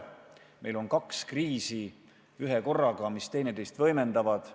Meil on ühekorraga kaks kriisi, mis teineteist võimendavad.